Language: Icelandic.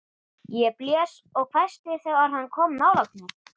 Ég blés og hvæsti þegar hann kom nálægt mér.